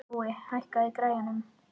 Nói, hækkaðu í græjunum.